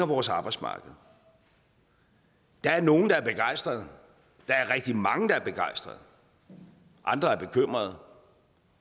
vores arbejdsmarked der er nogle der er begejstrede der er rigtig mange der er begejstrede andre er bekymrede